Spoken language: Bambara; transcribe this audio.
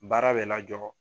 Baara bɛ lajɔ